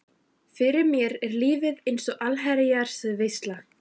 Fyrir mér er lífið ein allsherjar veisla.